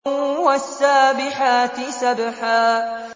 وَالسَّابِحَاتِ سَبْحًا